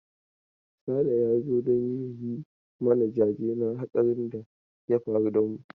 Sale ya zo don ya yi mana jaje na hatsarin da ya faru da mu.